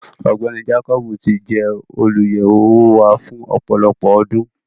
Ọgbẹni Jàkọbì tì jẹ olúyẹwo owó wà fún ọpọlọpọ ọ̀dún.